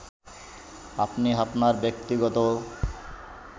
আপনি আপনার ব্যক্তিগত